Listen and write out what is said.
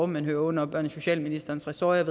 men under børne og socialministerens ressort